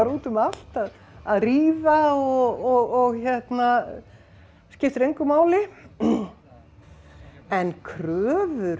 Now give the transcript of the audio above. út um allt að að ríða og skiptir engu máli en kröfur